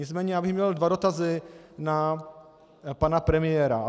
Nicméně já bych měl dva dotazy na pana premiéra.